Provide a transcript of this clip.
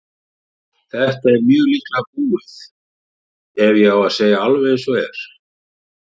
Þetta er mjög líklega búið ef ég á að segja alveg eins og er.